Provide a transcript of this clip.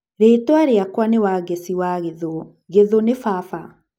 Rĩtwa rĩakwa nĩ Wangeci wa Gĩthu, Gĩthu ni baba.